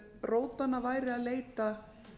rótanna væri að leita